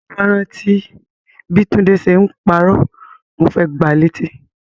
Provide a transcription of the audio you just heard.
Ti mo bá rántí bi Tunde ṣe n parọ́, mo fẹ gbà létí.